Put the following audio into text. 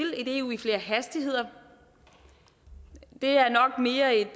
et eu i flere hastigheder er nok mere en